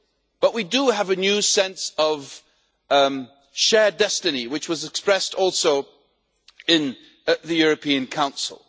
But we do have a new sense of shared destiny, which was expressed also in the European Council.